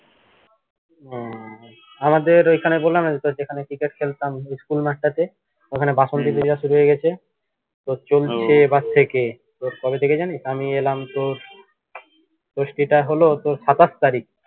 উহ আমাদের ঐখানে বললাম না যে তোর যেখানে ক্রিকেট খেলতাম school মাঠটাতে ওখানে বাসন্তী পূজা শুরু হয়ে গেছে তোর কবে থেকে জানিস আমি এলাম তোর হলো তোর সাত আট তারিখ